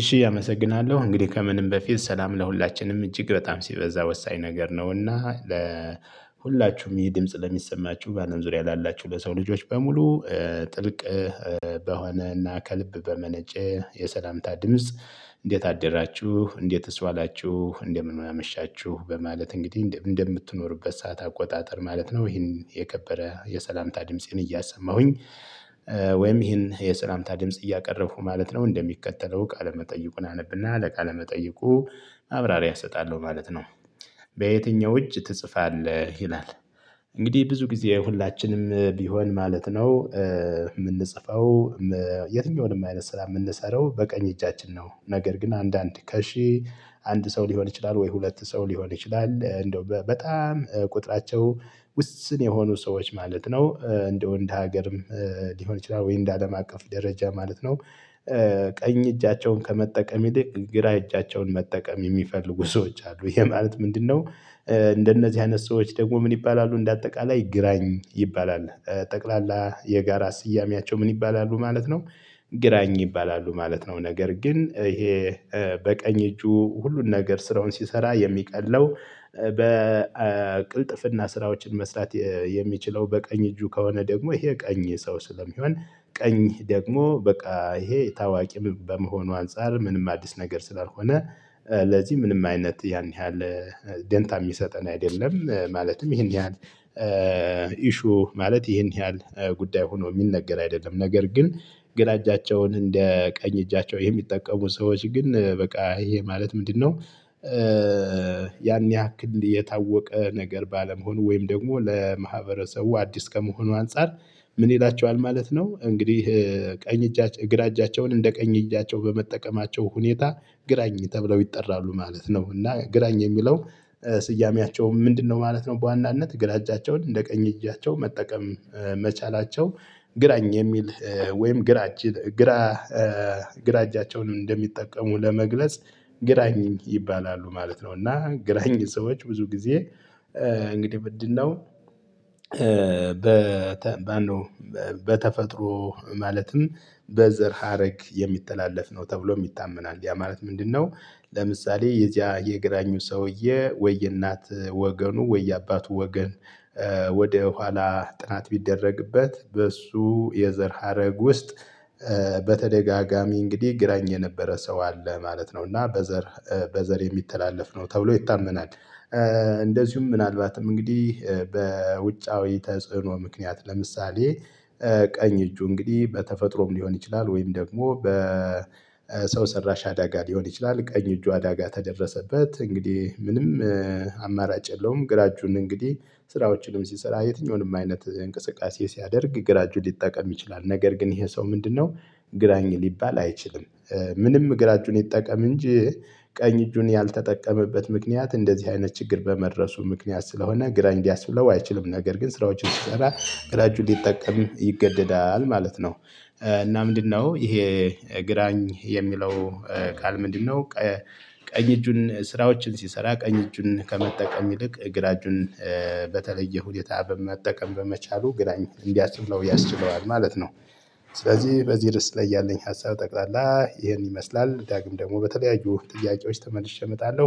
እሺ አመሰግናለሁ እንግዲህ ከምንም በፊት ሰላም ለሁላችንም እጅግ በጣም ሲበዛ ወሳኝ ነገር ነውና ለሁላችሁም ይሄ ድምጽ ለሚሰማችሁ በአለም ዙሪያ ላላችሁ ለሰው ልጆች በሙሉ ጥልቅ በሆነና ከልብ በመነጨ የሰላምታ ድምጽ። እንዴት አደራችሁ እንዴትስ ዋላችሁ እንደምን ማመሻችሁ በማለት እንግዲህ እንደምትኖሩበት ሰዓት አቆጣጠር ማለት ነው። ይሄን የከበረ የሰላምታ ድምፄን እያሰማሁኝ ወይም ይሄን የሰላምታ ድምጽ እያቀረብኩ ማለት ነው እንደሚቀጠለው ቃለ መጠይቁን አነብና ለቃሌ መጠይቁ ማብራሪያ አሰጣለሁ ማለት ነው። በየትኛው እጅ ትጽፋለህ ይላል? እንግዲህ ብዙ ጊዜ ሁላችንም ቢሆን ማለት ነው የምንጽፈው። የትኛውንም አይነት ስራ የምንሰራው በቀኝ እጃችን ነው። ነገር ግን አንዳንድ ከሺህ አንድ ሰው ሊሆን ይችላል ወይ ሁለት ሰው ሊሆን ይችላል። እንደው በጣም ቁጥራቸው ውስን የሆኑ ሰዎች ማለት ነው እንደው እንደ ሀገርም ሊሆን ይችላል ወይ እንደ አለም አቀፍ ደረጃ ማለት ነው። ቀኝ እጃቸውን ከመጠቀም ይልቅ ግራ እጃቸውን መጠቀም የሚፈልጉ ሰዎች አሉ። ይሄ ማለት ምንድነው? እንደነዚህ አይነት ሰዎች ደግሞ ምን ይባላሉ እንደ አጠቃላይ ግራኝ ይባላል። ጠቅላላ የጋራ ስያሜያቸው ምን ይባላሉ ማለት ነው? ግራኝ ይባላሉ ማለት ነው። ነገር ግን ይሄ በቀኝ እጁ ሁሉን ነገር ስራውን ሲሰራ የሚቀለው በቅልጥፍና ስራዎችን መስራት የሚችለው በቀኝ እጁ ከሆነ ደግሞ ይሄ ቀኝ ሰው ስለሚሆን ቀኝ ደግሞ በቃ ይሄ ታዋቂ በመሆኑ አንፃር ምንም አዲስ ነገር ስላልሆነ ለዚህ ምንም አይነት ያን ያህል ደንታ የሚሰጠን አይደለም። ማለትም ይሄን ያህል ኢሹ ማለት ይሄን ያህል ጉዳይ ሆኖ የሚነገር አይደለም። ነገር ግን ግራ እጃቸውን እንደ ቀኝ እጃቸው የሚጠቀሙ ሰዎች ግን በቃ ይሄ ማለት ምንድነው? ያን ያክል የታወቀ ነገር ባለመሆኑ ወይም ደግሞ ለማህበረሰቡ አዲስ ከመሆኑ አንፃር ምን ይላቸዋል ማለት ነው? እንግዲህ ቀኝ ግራ እጃቸውን እንደ ቀኝ እጃቸው በመጠቀማቸው ሁኔታ ግራኝ ተብለው ይጠራሉ ማለት ነው። እና ግራኝ የሚለው ስያሜያቸው ምንድነው ማለት ነው? በዋናነት ግራ እጃቸውን እንደ ቀኝ እጃቸው መጠቀም መቻላቸው ግራኝ የሚል ወይም ግራ ግራ ግራ እጃቸውን እንደሚጠቀሙ ለመግለጽ ግራኝ ይባላሉ ማለት ነው። እና ግራኝ ሰዎች ብዙ ጊዜ እንግዲህ ምንድነው? በተፈጥሮ ማለትም በዘር ሀረግ የሚተላለፍ ነው ተብሎ ይታመናል። ያ ማለት ምንድነው? ለምሳሌ የዚያ የግራኙ ሰውዬ ወይ የእናት ወገኑ ወይ የአባቱ ወገን ወደ ኋላ ጥናት ቢደረግበት በእሱ የዘር ሀረግ ውስጥ በተደጋጋሚ እንግዲህ ግራኝ የነበረ ሰው አለ ማለት ነው። እና በዘር በዘር የሚተላለፍ ነው ተብሎ ይታመናል። እንደዚሁም ምናልባትም እንግዲህ በውጫዊ ተጽዕኖ ምክንያት ለምሳሌ ቀኝ እጁ እንግዲህ በተፈጥሮም ሊሆን ይችላል ወይም ደግሞ በሰው ሰራሽ አዳጋ ሊሆን ይችላል። ቀኝ እጁ አዳጋ ከደረሰበት እንግዲህ ምንም አማራጭ የለውም። ግራ እጁን እንግዲህ ስራዎችንም ሲሰራ የትኛውንም አይነት እንቅስቃሴ ሲያደርግ ግራጁ ሊጠቀም ይችላል። ነገር ግን ይሄ ሰው ምንድነው? ግራኝ ሊባል አይችልም። ምንም ግራ እጁን ይጠቀም እንጂ ቀኝ እጁን ያልተጠቀመበት ምክንያት እንደዚህ አይነት ችግር በመድረሱ ምክንያት ስለሆነ ግራኝ እንዲያስብለው አይችልም ነገር ግን ስራዎችን ሲሰራ ግራ እጁን ሊጠቀም ይገደዳል ማለት ነው። እና ምንድነው ይሄ ግራኝ የሚለው ቃል ምንድነው? ቀኝ እጁን ስራዎችን ሲሰራ ቀኝ እጁን ከመጠቀም ይልቅ ግራ እጁን በተለየ ሁኔታ በመጠቀም በመቻሉ ግራኝ እንዲያስችለው ያስችለዋል ማለት ነው። ስለዚህ በዚህ ድረስ ላይ ያለኝ ሀሳብ ጠቅላላ ይሄን ይመስላል ዳግም ደግሞ በተለያዩ ጥያቄዎች ተመልሼ እመጣለሁ።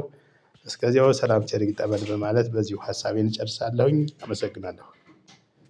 እስከዚያው ሰላም ቸር ይግጠመን በማለት በዚሁ ሀሳቤን እጨርሳለሁኝ አመሰግናለሁ።